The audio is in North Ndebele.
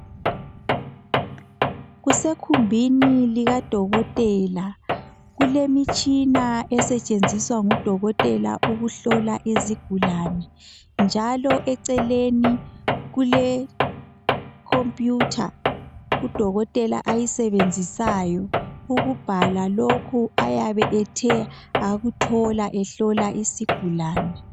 kusekhumbini likadokotela kulemitshina esetshenziswa ngu dokotela ukuhlola izigulane njalo eceleni kule computer u dokotela ayisbenzisayo ukubhala lokhu ayabe ethe wakuthola ehlola isigulane